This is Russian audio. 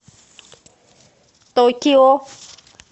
токио